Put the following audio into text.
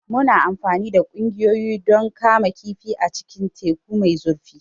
Muna amfani da ƙugiya don kama kifi a cikin teku mai zurfi.